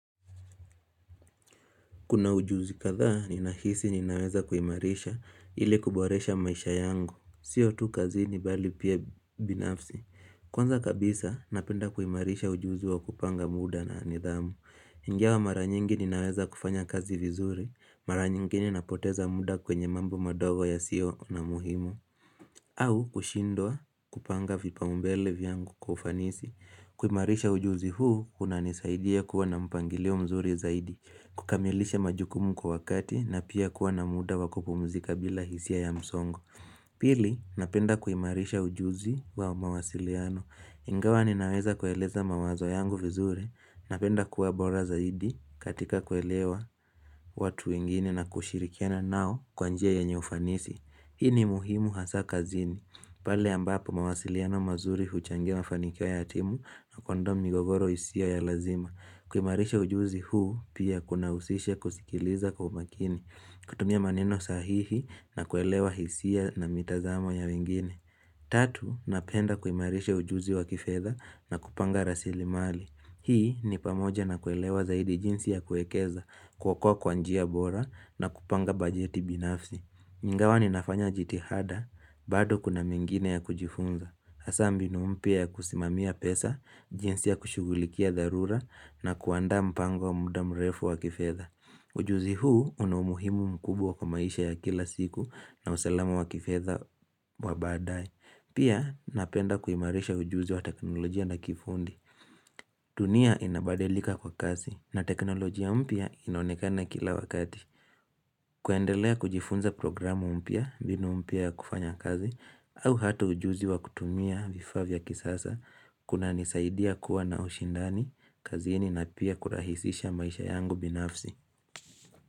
Kuna ujuzi kathaa, ninahisi ninaweza kuimarisha ili kuboresha maisha yangu. Sio tu kazi ni bali pia binafsi. Kwanza kabisa, napenda kuimarisha ujuzi wa kupanga muda na nidhamu. Njawa mara nyingi ninaweza kufanya kazi vizuri. Mara nyingi napoteza muda kwenye mambo madogo ya sio na muhimu. Au kushindwa kupanga vipa umbele viyangu kufanisi. Kuimarisha ujuzi huu, unanisaidia kuwa na mpangilio mzuri zaidi. Kukamilisha majukumu kwa wakati na pia kuwa na muda wakupumzika bila hisia ya msongo Pili, napenda kuimarisha ujuzi wa mawasiliano Ingawa ninaweza kueleza mawazo yangu vizuri Napenda kuwa bora zaidi katika kuelewa watu wengine na kushirikiana nao kwanjia yanye ufanisi Hini muhimu hasa kazini pale ambapo mawasiliano mazuri huchangewa fanikia ya atimu na kondomu migogoro hisia ya lazima kuimarisha ujuzi huu pia kuna usishe kusikiliza kwa umakini, kutumia maneno sahihi na kuelewa hisia na mitazamo ya wengine. Tatu, napenda kuimarisha ujuzi wa kifeza na kupanga rasili mali. Hii ni pamoja na kuelewa zaidi jinsi ya kuekeza, kukua kwanjia bora na kupanga bajeti binafsi. Nyingawa ni nafanya jitihada, badu kuna mingine ya kujifunza. Asambi ni umpia ya kusimamia pesa, jinsi ya kushugulikia darura na kuanda mpango wa muda mrefu wa kifeza. Ujuzi huu una umuhimu mkubwa kwa maisha ya kila siku na usalamu wa kifeza wa badai. Pia napenda kuimarisha ujuzi wa teknolojia na kifundi. Tunia inabadelika kwa kasi na teknolojia umpia inonekana kila wakati. Kuendelea kujifunza programu umpia, binu umpia ya kufanya kazi au hatu ujuzi wa kutumia vifavya kisasa kuna nisaidia kuwa na ushindani kazi ini na pia kurahisisha maisha yangu binafzi.